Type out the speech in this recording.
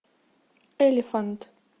элефант